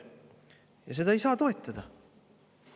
Ja seda ei saa toetada.